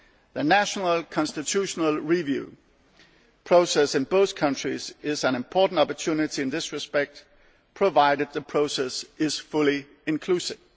The national constitutional review process in both countries is an important opportunity in this respect, provided the process is fully inclusive.